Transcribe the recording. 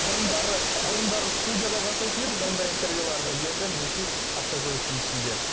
бұрындары бұрындары студияда жасайтын едік бұндай интервьюларды енді мінекей автокөліктің ішінде